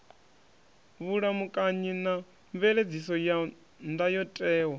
vhulamukanyi na mveledziso ya ndayotewa